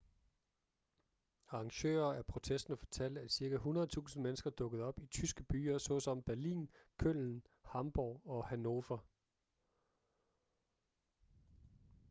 arrangører af protesten fortalte at cirka 100.000 mennesker dukkede op i tyske byer såsom berlin köln hamborg og hanover